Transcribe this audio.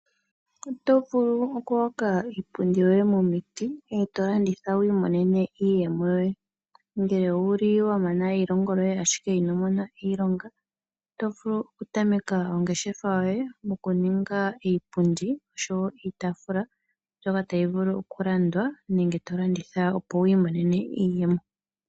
Oto vulu oku hoka iipundi yoye momiti, eto landitha wi imonene iiyemo yoye. Nge ouli wamana eilongo lyoye ndele ino Mona iilonga, oto vulu oku tameka ongeshefa yoye mokuninga iipundi nenge iitaafula mbyoka ta yi vulu oku landwa opo wu imonene, iiyemo.